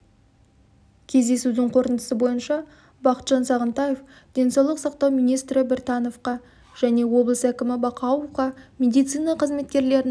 кездесудің қорытындысы бойынша бақытжан сағынтаев денсаулық сақтау министрі біртановқа және облыс әкімі бақауовқа медицина қызметкерлерінің